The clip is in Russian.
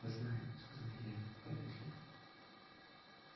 знаю сказал я помедлив